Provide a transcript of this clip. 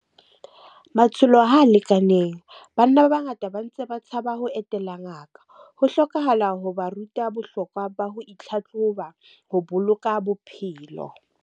Matsholo ha lekaneng, banna ba bangata ba ntse ba tshaba ho etela ngaka. Ho hlokahala ho ba ruta bohlokwa ba ho itlhahloba ho boloka bophelo.